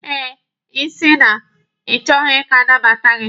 Eh, ịsị na ị chọghi ka anabata gị.